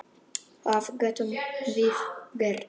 Hvað getum við gert?